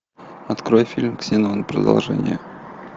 открой фильм ксенон продолжение